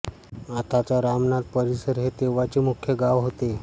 आताचा रामनाथ परिसर हे तेव्हाचे मुख्य गाव होते